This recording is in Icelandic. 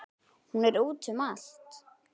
Hún er úti um allt.